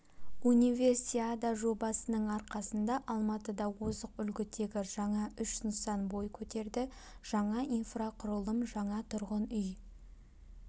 универсиада жобасының арқасында алматыда озық үлгідегі жаңа үш нысан бой көтерді жаңа инфрақұрылым жаңа тұрғын үй